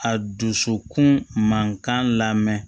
A dusukun mankan lamɛn